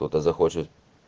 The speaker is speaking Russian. кто-то захочет